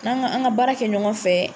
N'an kan an ka baara kɛ ɲɔgɔn fɛ